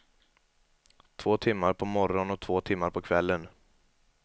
Två timmar på morgonen och två timmar på kvällen.